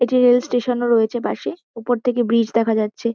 একটি rail station -ও রয়েছে পাশে। ওপর থেকে ব্রিজ দেখা যাচ্ছে।